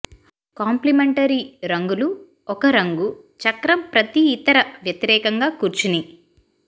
complementary రంగులు ఒక రంగు చక్రం ప్రతి ఇతర వ్యతిరేకంగా కూర్చుని